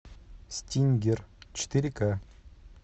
стингер четыре ка